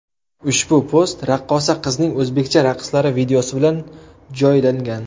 Ushbu post raqqosa qizning o‘zbekcha raqslari videosi bilan joylangan .